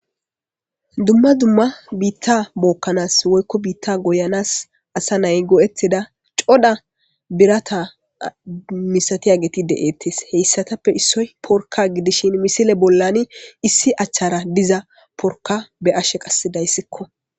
Dumma dumma biitta bookkanas woykko biitta goyanas asa nay go'ettida coda birata misatiyageti de'eettes heyssatappe issoy porka gidishin misile bollani issi achchara diza porka be ashe qassidayssikko.